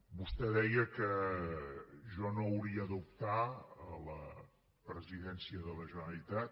vostè deia que jo no hauria d’optar a la presidència de la generalitat